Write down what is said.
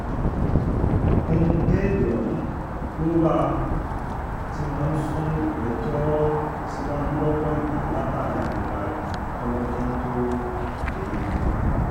ẹnu bẹ́ẹ̀lì ọ̀hún ló wà um tí wọ́n ń sún ìgbẹ́jọ́ um síwájú lọ́pọ̀ ìgbà látàrí àìlera rẹ kólọ́jọ́ tóo dé yìí